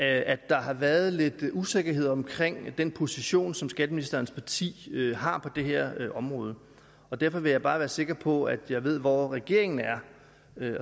at der har været lidt usikkerhed omkring den position som skatteministerens parti har på det her område derfor vil jeg bare være sikker på at jeg ved hvor regeringen er